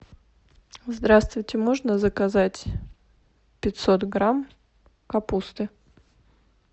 здравствуйте можно заказать пятьсот грамм капусты